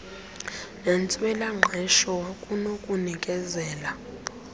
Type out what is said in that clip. nentswela ngqesho kunokunikezela